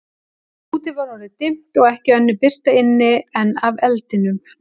Úti var orðið dimmt, og ekki önnur birta inni en af eldinum.